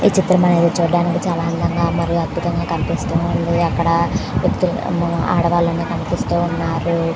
ఈ చిత్రం అనేది చూడడానికి అందంగా మరియు అద్భుతం గ కనిపిస్తుంది. అక్కడ ఆడవాళ్లు కనిపిస్తూ వున్నారు.